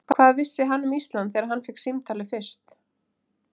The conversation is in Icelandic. Hvað vissi hann um Ísland þegar hann fékk símtalið fyrst?